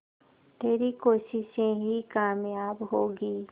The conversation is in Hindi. तेरी कोशिशें ही कामयाब होंगी